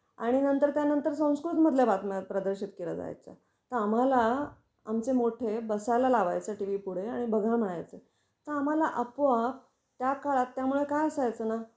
आणि नंतर त्यानंतर संस्कृत मधल्या बातम्या प्रदर्शित केल्या जायच्या. तर आम्हाला आमचे मोठे बसायला लावायचे टीव्ही पुढे आणि बघा म्हणायचे. तर आम्हाला आपोआप त्या काळात